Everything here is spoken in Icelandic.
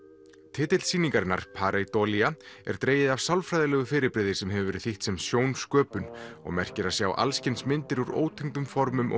titill sýningarinnar er dregið af sálfræðilegu fyrirbrigði sem hefur verið þýtt sem og merkir að sjá alls kyns myndir úr ótengdum formum og